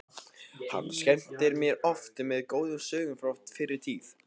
Hann skemmti mér oft með góðum sögum frá fyrri tíð.